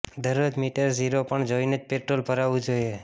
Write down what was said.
દરરોજ meter zero પર જોઈને જ પેટ્રોલ ભરાવું જોઈએ